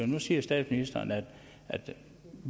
nu siger statsministeren at